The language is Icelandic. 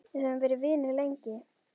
Við höfum verið vinir lengi.